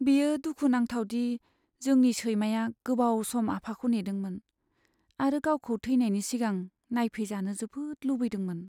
बेयो दुखु नांथाव दि जोंनि सैमाया गोबाव सम आफाखौ नेदोंमोन, आरो गावखौ थेनायनि सिगां नायफैजानो जोबोद लुबैदोंमोन।